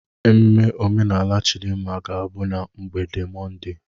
Ememe omenala Chidimma ga-abụ na mgbede Mọnde.